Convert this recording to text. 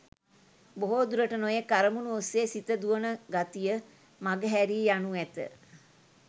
බොහෝ දුරට නොයෙක් අරමුණු ඔස්සේ සිත දුවන ගතිය මඟ හැරී යනු ඇත.